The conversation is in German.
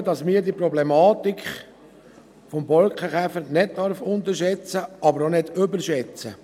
Ich glaube, man darf die Problematik des Borkenkäfers nicht unterschätzen, aber auch nicht überschätzen.